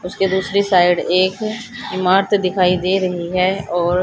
उसके दूसरी साइड एक इमारत दिखाई दे रही है और--